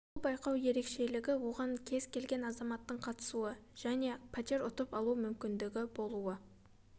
бұл байқау ерекшелігі оған кез келген азаматтың қатысуы жне пәтер ұтып алу мүмкіндігі болуы